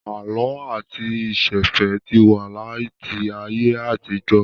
Àlọ́ àti ìsẹ̀fẹ̀ ti wà láti ayé àtijọ́